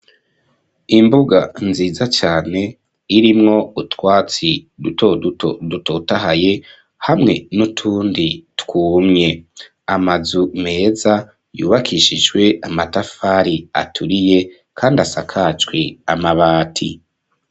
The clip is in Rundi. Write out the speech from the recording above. Imbuga nziza cane irimwo utwatsi dutotahaye hamwe n'utundi twumye amazu meza yubakishijwe amatafari aturiye kandi asakajwe amabati.